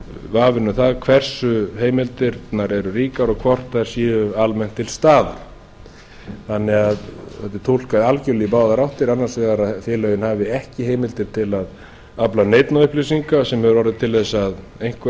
vafinn um það hversu heimildirnar eru ríkar og hvort þær séu almennt til staðar þannig að þetta er túlkað algerlega í báðar áttir annars vegar að félögin hafi ekki heimildir til að afla neinna upplýsinga sem hefur orðið til þess að einhver